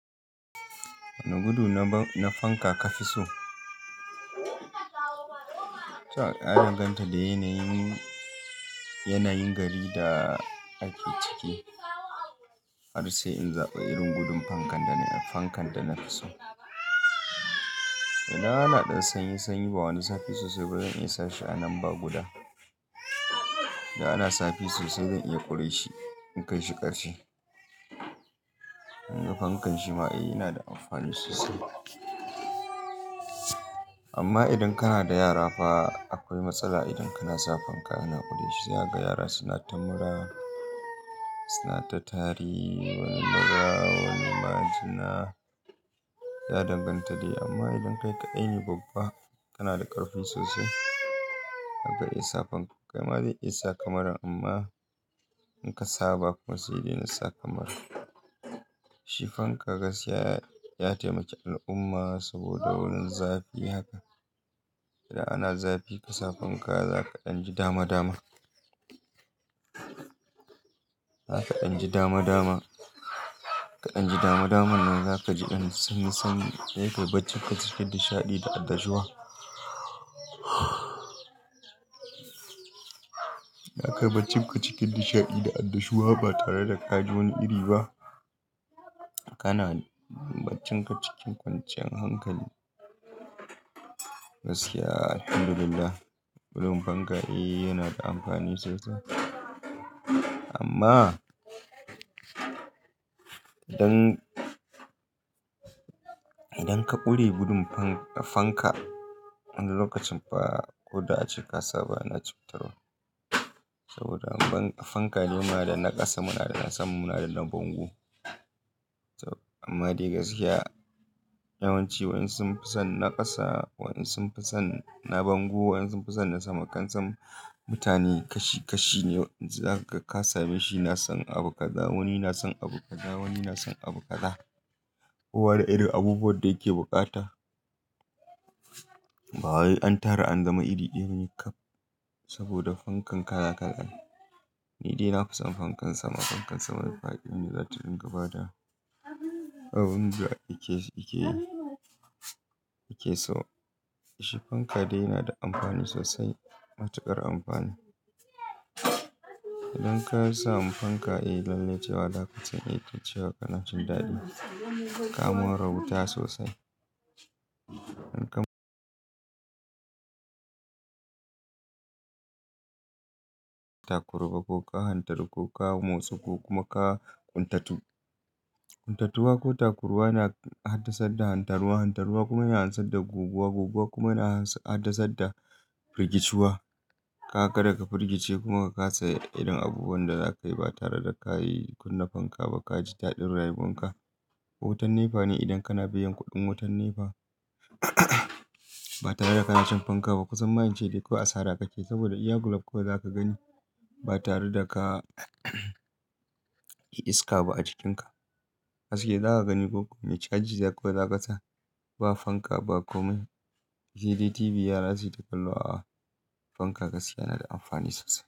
Wane gudu na fanka ka fi so? Ta ya danganta da yanayin, yanayin gari da ake ciki har sai in zaɓi irin gudun fankan da, fankan da na fi so. Ina ana ɗan sanyi, sanyi ba wani zafi sosai ba zan iya sa shi a nan ba guda. Da ana zafi sosai zan iya ƙure shi in kai shi ƙarshe. Tunda fankan shi ma eh yana da amfani sosai. Amma idan kana da yara fa akwai matsala idan kana sa fanka ana ƙure shi. Zai aga yaran suna ta mura, suna ta tari wani mura, wani majina. Ya danganta da. Amma idan kai ka dai ne babba kana da ƙarfi sosai zaka iya sa fanka. Kai ma zai iya sa muran amma in ka saba kuma sai dai na sa kamar shi. Fanka gaskiya ya taimaki al'umma saboda wurin zafi haka. Idan ana zafi ka sa fanka za ka ɗan ji dama dama. Za ka ɗan ji dama dama. Ka ɗan ji dama dama nan za ka ji an san, san yakan baccinka cikin nishaɗi da annashuwa. Zakai baccinka cikin nishaɗi da annashuwa ba tare da ka ji wani iri ba. Kana baccinka cikin kwanciyan hankali. Gaskiya Alhamdulillah gudun fanka eh yana da amfani sosai. Amma idan, idan ka ƙure gudun fan, fanka wani lokacin fa ko da ace ka sa ba na cutarwa. Saboda fan ka ne muna da na ƙasa, muna da na sama, muna da na bango. Amma dai gaskiya yawanci wayan sun fi son na ƙasa, wayan sun fi son na bango, wayan sun fi son na sama. Kan son mutane kashi, kashi ne. Za ka, ka same shi na son abu kaza. Wani na son abu kaza, wani na son abu kaza. Kowa da irin abubuwan da yake bukata. Ba wai an tara an zama iri ɗaya ne kam saboda fankan kala kala ne. Ni dai na fi son fankan sama. Fankan sama mai faɗi me za ta dinga ba da abin da yake, yake so. Shi fanka dai yana da amfani sosai. Matuƙar amfani. Idan kasa mu fanka eh lallai cewa da ka san ce wa kana cin daɗi. Ka ma rauta sosai. In ka takurba ko ka hantaru ko ka motsa ko kuma ka ƙuntatu. Ƙuntatuwa ko takurwa na haddasa hantarwa. Hantarwa kuma yana hansar da guguwa. Guguwa kuma yana haddasar da firgiciwa. Ka ga daga firgice kuma ka kasa irin abubuwan da za ka yi ba tare da ka yi kunne fanka ba. Ka ji daɗin rayuwan ka. Wutan nefa ne idan kana biyan kuɗin wutan nefa ba tare da kana shan fanka ba. Kusan ma in ce kawai asara kake saboda iya gulup kawai za ka gani ba tare da ka shaki iska ba a jikinka. Haske za ka gani ko me caji za kawai za ka sa. Ba fanka ba komai. CD, TV yara suyita kallo aa Fanka gaskiya na da amfani sosai.